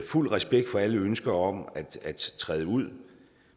fuld respekt for alle ønsker om at træde ud